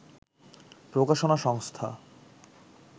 প্রকাশনা সংস্থা